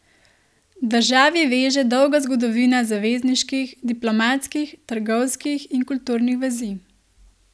Državi veže dolga zgodovina zavezniških, diplomatskih, trgovskih in kulturnih vezi.